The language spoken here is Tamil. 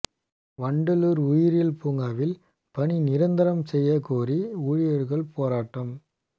வண்டலூர் உயிரியல் பூங்காவில் பணி நிரந்தரம் செய்ய கோரி ஊழியர்கள் போராட்டம்